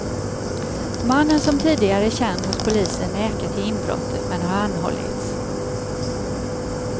Mannen som tidigare är känd hos polisen nekar till inbrottet men har anhållits.